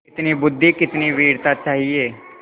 कितनी बुद्वि कितनी वीरता चाहिए